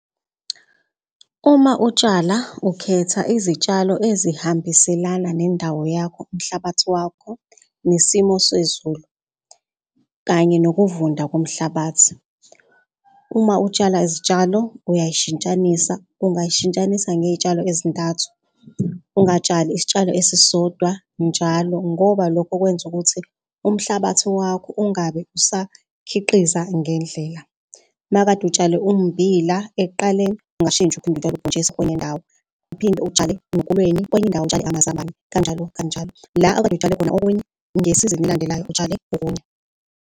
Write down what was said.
Uma utshala ukhetha izitshalo ezihambiselana nendawo yakho, umhlabathi wakho nesimo sezulu kanye nokuvunda komhlabathi. Uma utshala izitshalo uyay'shintshanisa, ungay'shintshanisa ngezitshalo ey'ntathu. Ungatshali isitshalo esisodwa njalo ngoba lokho kwenza ukuthi umhlabathi wakho ungabe usakhiqiza ngendlela. Uma kade utshale ummbila ekuqaleni ungashintsha uphinde utshale ubhontshisi kwenye indawo. Uphinde utshale nokolweni kwenye indawo amazambane kanjalo kanjalo. La okade utshale khona okunye ngesizini elandelayo utshale okunye.